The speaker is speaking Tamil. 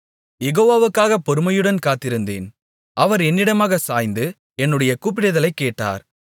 யெகோவாவுக்காகப் பொறுமையுடன் காத்திருந்தேன் அவர் என்னிடமாகச் சாய்ந்து என்னுடைய கூப்பிடுதலைக் கேட்டார்